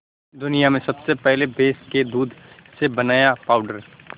दुनिया में सबसे पहले भैंस के दूध से बनाया पावडर